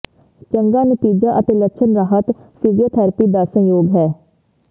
ਚੰਗਾ ਨਤੀਜਾ ਅਤੇ ਲੱਛਣ ਰਾਹਤ ਫਿਜ਼ੀਓਥਰੈਪੀ ਦਾ ਸੰਯੋਗ ਹੈ